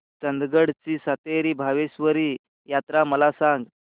चंदगड ची सातेरी भावेश्वरी यात्रा मला सांग